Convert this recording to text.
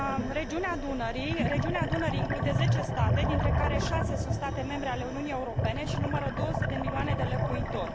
Regiunea Dunării include 10 state, dintre care 6 sunt state membre ale Uniunii Europene și numără 200 de milioane de locuitori.